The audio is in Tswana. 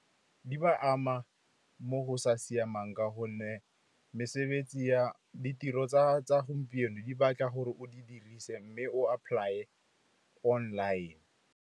Di ba ama mo go sa siamang, ka gonne ditiro tsa gompieno di batla gore o di dirise mme o apply-e online.